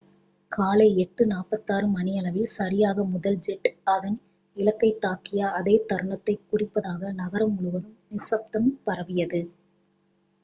காலை 8:46 மணியளவில் சரியாக முதல் ஜெட் அதன் இலக்கைத் தாக்கிய அதே தருணத்தைக் குறிப்பதாக நகரம் முழுவதும் நிசப்தம் பரவியது